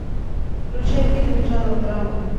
включай фильмик жанра драма